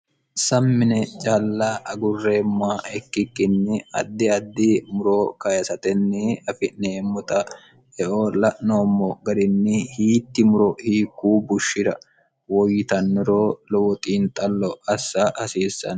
sammine caalla agurreemma ikkikkinni addi addi muro kyisatenni afi'neemmoxa eo la'noommo garinni hiitti muro hiikkuu bushshira woyyitanniro lowo xiinxallo assa hasiissann